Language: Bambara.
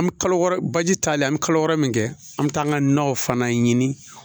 An bɛ kalo wɔɔrɔ baji talen an bɛ kalo wɔɔrɔ min kɛ an bɛ taa an ka naw fana ɲini